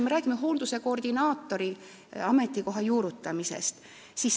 Me räägime hoolduse koordinaatori ametikoha juurutamisest.